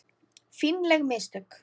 Fínleg mistök.